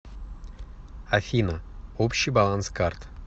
афина общий баланс карт